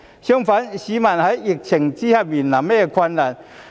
相反，市民在疫情之下面臨甚麼困難？